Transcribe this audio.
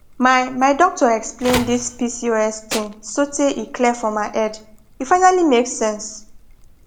my my doctor explain this pcos thing sotay e clear for my head e finally make sense